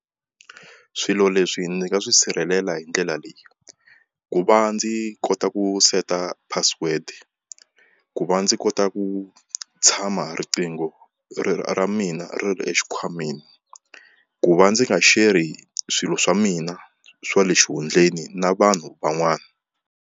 Swilo leswi ndzi nga swi sirhelela hi ndlela leyi ku va ndzi kota ku seta password ku va ndzi kota ku tshama riqingho ra mina ri ri exikhwameni ku va ndzi nga share swilo swa mina swa le xihundleni na vanhu van'wana.